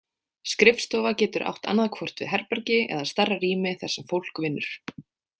Skrifstofa getur átt annaðhvort við herbergi eða stærra rými þar sem fólk vinnur.